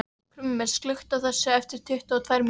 Krummi, slökktu á þessu eftir tuttugu og tvær mínútur.